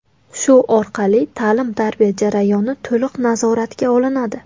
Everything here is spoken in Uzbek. Shu orqali ta’lim-tarbiya jarayoni to‘liq nazoratga olinadi.